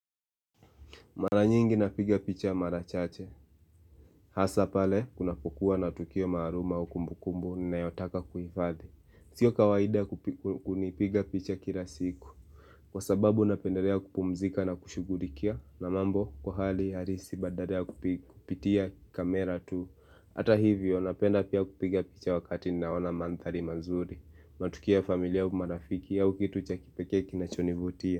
Mara nyingi napiga picha mara chache. Hasaa pale, kunapokuwa na tukio maaluma au kumbukumbu, ninayotaka kuhifadhi. Sio kawaida kupigw kunipiga picha kila siku. Kwa sababu, napendelea kupumzika na kushughulikia na mambo, kwa hali halisi badala ya kupitia kamera tu. Hata hivyo, napenda pia kupiga picha wakati naona madhali mazuri. Matukio ya familia au marafiki au kitu cha kipekee kinachonivutia.